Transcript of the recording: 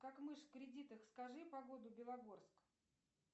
как мышь в кредитах скажи погоду белогорск